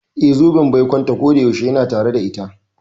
Eh, zoben baikonta kodayaushe yana tare da ita.